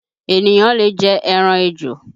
Ènìyàn lè jẹ ẹran ejò